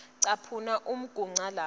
caphuna umugca lapho